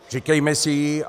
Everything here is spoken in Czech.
Říkejme si ji.